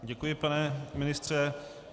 Děkuji, pane ministře.